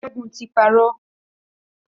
Ṣẹ́gun ti parọ́.